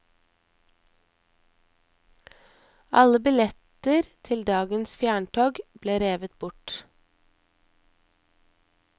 Alle billetter til dagens fjerntog ble revet bort.